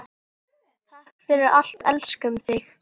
Takk fyrir allt, elskum þig.